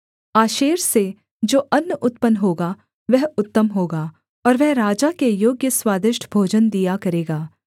आशेर से जो अन्न उत्पन्न होगा वह उत्तम होगा और वह राजा के योग्य स्वादिष्ट भोजन दिया करेगा